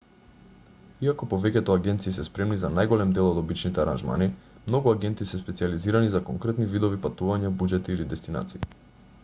иако повеќето агенции се спремни за најголем дел од обичните аранжмани многу агенти се специјализирани за конкретни видови патувања буџети или дестинации